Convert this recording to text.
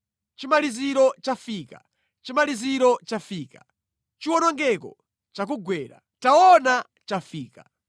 Chimaliziro chafika! Chimaliziro chafika! Chiwonongeko chakugwera. Taona chafika!